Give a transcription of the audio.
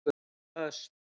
Ösp